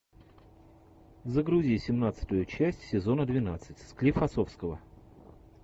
загрузи семнадцатую часть сезона двенадцать склифосовского